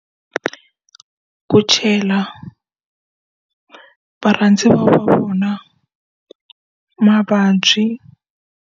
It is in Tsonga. Ku chela varhandziwa va vona mavabyi.